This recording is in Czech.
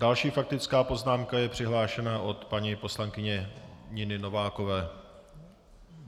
Další faktická poznámka je přihlášena od paní poslankyně Niny Novákové.